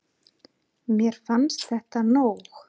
Mér fannst þetta nóg.